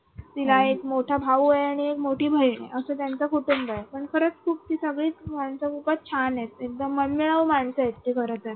तिला एक मोठा भाऊ आहे आणि एक मोठी बहिण असं त्यांचं कुटुंब आहे पण खरंच ती सगळी माणसं खूपच छान आहे एकदम मनमिळावू माणस आहेत तिच्या घरात.